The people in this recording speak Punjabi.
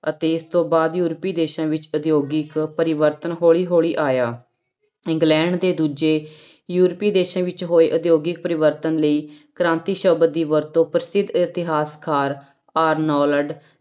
ਅਤੇ ਇਸ ਤੋਂ ਬਾਅਦ ਯੂਰਪੀ ਦੇਸਾਂ ਵਿੱਚ ਉਦਯੋਗਿਕ ਪਰਿਵਰਤਨ ਹੌਲੀ ਹੌਲੀ ਆਇਆ, ਇੰਗਲੈਂਡ ਦੇ ਦੂਜੇ ਯੂਰਪੀ ਦੇਸਾਂ ਵਿੱਚ ਹੋਏ ਉਦਯੋਗਿਕ ਪਰਿਵਰਤਨ ਲਈ ਕ੍ਰਾਂਤੀ ਸ਼ਬਦ ਦੀ ਵਰਤੋਂ ਪ੍ਰਸਿੱਧ ਇਤਿਹਾਸਕਾਰ ਆਰਨੋਲਡ